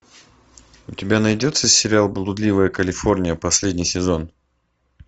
у тебя найдется сериал блудливая калифорния последний сезон